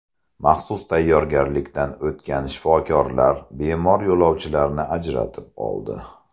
Maxsus tayyorgarlikdan o‘tgan shifokorlar bemor yo‘lovchilarni ajratib oldi.